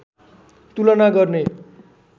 तुलना गर्ने